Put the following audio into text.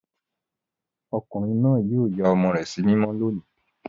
Ọkùnrin náà yóò ya ọmọ rẹ̀ sí mímọ́ lónìí.